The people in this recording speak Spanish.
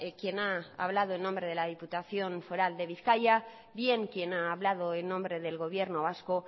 quien ha hablado en nombre de la diputación foral de bizkaia bien quien ha hablado en nombre del gobierno vasco